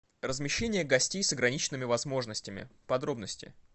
размещение гостей с ограниченными возможностями подробности